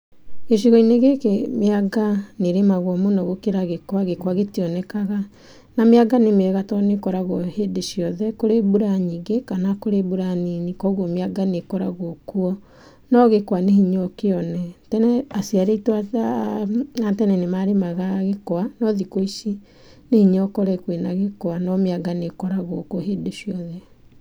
Gĩcigo-inĩ gĩkĩ mĩanga nĩ ĩrĩmagwo mũno gũkĩra gĩkwa, gĩkwa gĩtionekaga, na mĩanga nĩ mĩega tondũ nĩkoragwo hĩndĩ ciothe, kũrĩ mbura nyingĩ kana kũrĩ mbura nini, kwoguo mĩanga nĩkoragwo kuo, no gĩkwa nĩ hinya ũkĩone, tene aciari aitũ atene nĩmarĩmaga gĩkwa no thikũ ici no hinya ũkore kwĩna gĩkwa no mĩanga nĩkoragwo kuo hĩndĩ ciothe.